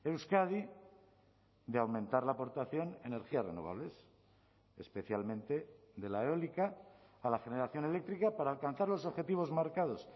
euskadi de aumentar la aportación energías renovables especialmente de la eólica a la generación eléctrica para alcanzar los objetivos marcados